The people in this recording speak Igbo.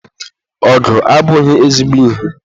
Ọgụ abụghị ezigbo ihe.